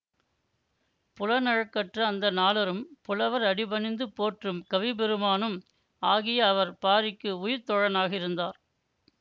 புலனழுக்கற்ற அந்தணாளரும் புலவர் அடி பணிந்து போற்றும் கவிப்பெருமானும் ஆகிய அவர் பாரிக்கு உயிர்த்தோழனாக இருந்தார்